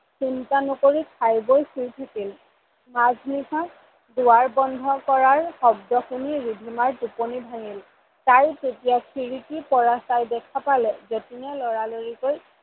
চিন্তা নকৰি খাই বৈ শুই থাকিল। মাজ নিশা দুৱাৰ বন্ধ কৰা শব্দ শুনি ৰিধিমাৰ টোপনি ভাঙিল ।তাই তেতিয়া খিৰিকিৰ পৰা চাই দেখা পালে জতিনে লৰা লৰিকৈ